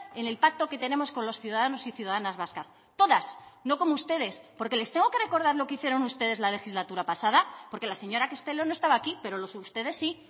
en el pacto que tenemos con los ciudadanos y ciudadanas vascas todas no como ustedes porque les tengo que recordar lo que hicieron ustedes la legislatura pasada porque la señora castelo no estaba aquí pero ustedes sí